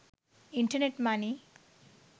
internet money